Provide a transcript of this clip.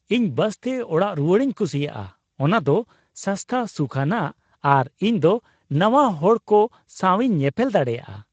ᱤᱧ ᱵᱟᱥᱛᱮ ᱚᱲᱟᱜ ᱨᱩᱣᱟᱹᱲᱤᱧ ᱠᱩᱥᱤᱭᱟᱜᱼᱟ ᱾ ᱚᱱᱟ ᱫᱚ ᱥᱟᱥᱛᱟ, ᱥᱩᱠᱷᱟᱱᱟᱜ ᱟᱨ ᱤᱧ ᱫᱚ ᱱᱟᱣᱟ ᱦᱚᱲᱠᱚ ᱥᱟᱸᱣᱤᱧ ᱧᱮᱯᱮᱞ ᱫᱟᱲᱮᱭᱟᱜᱼᱟ ᱾